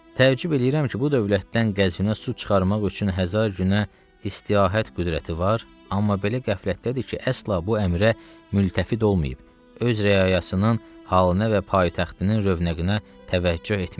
Təəccüb eləyirəm ki, bu dövlətdən Qəzvinə su çıxarmaq üçün Həzar günə istiahət qüdrəti var, amma belə qəflətdədir ki, əsla bu əmrə mültəfit olmayıb, öz rəayəsinin halına və paytaxtının rövnəqinə təvəccüh etmir.